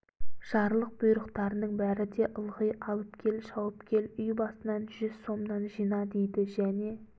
жарлық бұйрықтарының бәрі де ылғи алып кел шауып кел үй басынан жүз сомнан жина дейді және